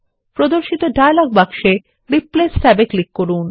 প্রদর্শিত ডায়লগ বাক্সে রিপ্লেস ট্যাবে ক্লিক করুন